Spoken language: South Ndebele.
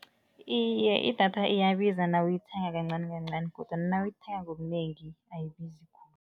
Iye, idatha iyabiza nawuyithenga kancanikancani kodwana nawuyithenga ngobunengi ayibizi khulu.